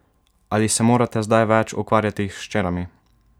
Ali se morate zdaj več ukvarjati s hčerami?